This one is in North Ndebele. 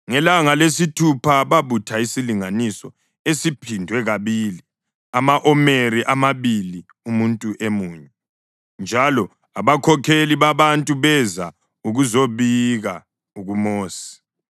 Ngelanga lesithupha babutha isilinganiso esiphindwe kabili ama-omeri amabili umuntu emunye, njalo abakhokheli babantu beza ukuzobika kuMosi.